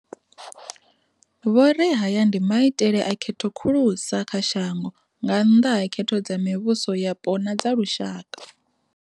Vho ri haya ndi maitele a khetho khulusa kha shango nga nnḓa ha khetho dza mivhuso yapo na dza lushaka.